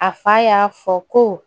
A fa y'a fɔ ko